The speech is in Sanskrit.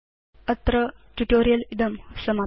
अत्र ट्यूटोरियल् इदं समाप्यते